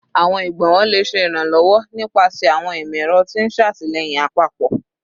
Awọn igbonwo le ṣe iranlọwọ nipasẹ awọn imọ-ẹrọ ti n ṣe atilẹyin apapọ